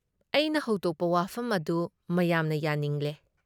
ꯑꯩꯅ ꯍꯧꯗꯣꯛꯄ ꯋꯥꯐꯝ ꯑꯗꯨ ꯃꯌꯥꯝꯅ ꯌꯥꯅꯤꯡꯂꯦ ꯫